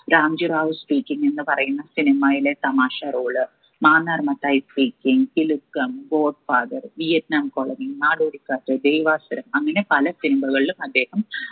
Ramji Rao speaking എന്ന് പറയുന്ന cinema യിലെ തമാശ role Mannar Mathai speaking Kilukkam god father Vietnam colony Nadodikkattu Devasuram അങ്ങനെ പല cinema കളിലും അദ്ദേഹം